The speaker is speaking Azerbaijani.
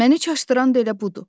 Məni çaşdıran da elə budur.